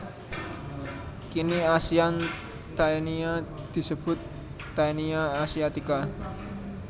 Kini Asian Taenia disebut Taenia asiatica